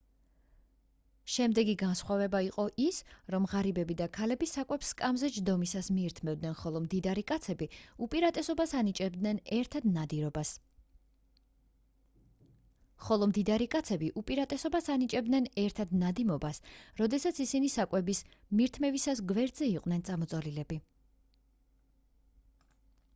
შემდეგი განსხვავება იყო ის რომ ღარიბები და ქალები საკვებს სკამზე ჯდომისას მიირთმევდნენ ხოლო მდიდარი კაცები უპირატესობას ანიჭებდნენ ერთად ნადიმობას როდესაც ისინი საკვების მირთმევისას გვერდზე იყვნენ წამოწოლილები